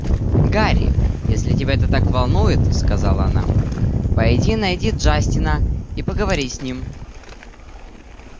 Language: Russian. гарри если тебя это так волнует сказала она пойди найди джастина и поговори с ним